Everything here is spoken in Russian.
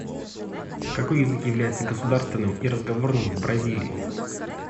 какой язык является государственным и разговорным в бразилии